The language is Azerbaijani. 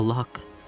Allaha haqqı.